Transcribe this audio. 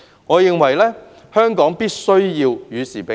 我認為，香港必須與時並進。